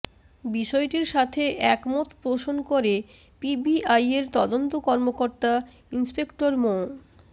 বিষয়টির সাথে একমত পোষণ করে পিবিআইয়ের তদন্ত কর্মকর্তা ইন্সপেক্টর মো